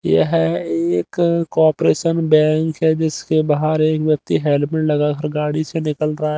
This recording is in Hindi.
यह एक कॉर्परेशन बैंक है जिसके बाहर एक व्यक्ति हेडमेट लगाकर गाड़ी से निकल रहा है।